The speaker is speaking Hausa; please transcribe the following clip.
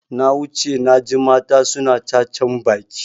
Na wuce naji mata suna cacan baki.